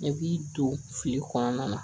Ne b'i to fili kɔnɔna na